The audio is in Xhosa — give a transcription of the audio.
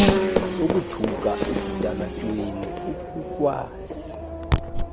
ukuthuka esitalatweni ukukhwaza